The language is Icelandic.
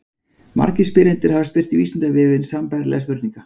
Margir spyrjendur hafa spurt Vísindavefinn sambærilegra spurninga.